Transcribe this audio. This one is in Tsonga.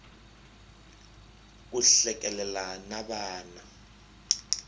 ku hlekelela na vana